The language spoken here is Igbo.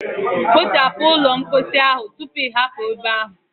Kpochapu ụlọ mposi ahụ tupu ị hapụ ebe ahụ.